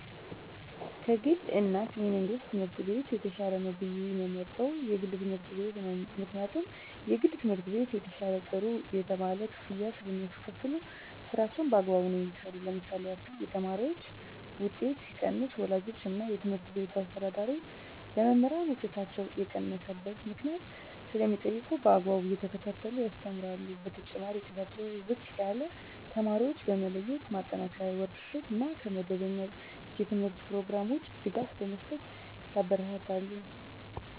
ከ ግል እና የመንግሥት ትምህርት ቤት የተሻለ ነው ብየ የምመርጠው የግል ትምህርት ቤት ነው ምክንያቱም የግል ትምህርት ቤት የተሻለ ጥሩ የተባለ ክፍያ ስለሚካፈሉ ስራቸውን በአግባቡ ነው የሚሠሩ ለምሳሌ ያክል የተማሪዎች ውጤት ሲቀንስ ወላጆች እና የትምህርት ቤቱ አስተዳዳሪ ለመምህራን ውጤታቸው የቀነሰበት ምክንያት ስለሚጠይቁ በአግባቡ እየተከታተሉ ያስተምራሉ በተጨማሪ ዉጤታቸው ዝቅ ያለ ተማሪዎችን በመለየት ማጠናከሪያ ወርክ ሽት እና ከመደበኛ የተምህርት ኘሮግራም ውጭ ድጋፍ በመስጠት ያበረታታሉ።